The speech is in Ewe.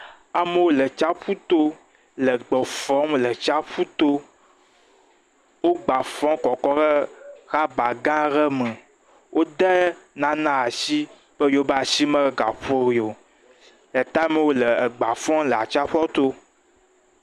Amewo le tsyaƒu to le agba fɔm le tsyaƒu to wogbafɔm kɔ kɔm ɖe rɔba gã aɖe me wode nane asi be yewoƒe asi megaƒo ɖi o gake amewo le agba fɔm le atsyaƒua to